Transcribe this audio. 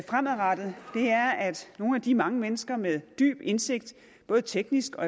fremadrettet er at nogle af de mange mennesker med dyb indsigt både teknisk og